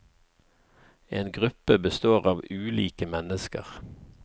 En gruppe består av ulike mennesker.